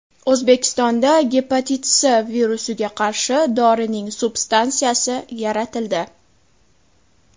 O‘zbekistonda gepatit C virusiga qarshi dorining substansiyasi yaratildi.